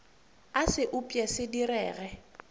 a se upše se direge